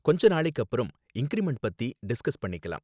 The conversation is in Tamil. கொஞ்ச நாளைக்கு அப்பறம் இன்கிரிமெண்ட் பத்தி டிஸ்கஸ் பண்ணிக்கலாம்